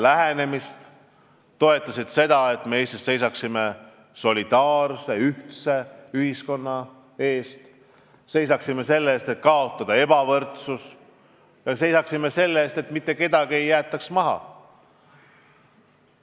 Nad toetasid seda, et me Eestis seisaksime solidaarsuse, ühtse ühiskonna eest, seisaksime selle eest, et kaotada ebavõrdsus, seisaksime selle eest, et mitte kedagi ei jäetaks maha.